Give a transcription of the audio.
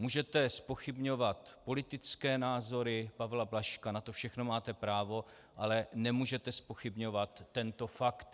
Můžete zpochybňovat politické názory Pavla Blažka, na to všechno máte právo, ale nemůžete zpochybňovat tento fakt.